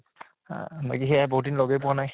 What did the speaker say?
আহ বাকী সেয়াই বহুত দিন লগে পোৱা নাই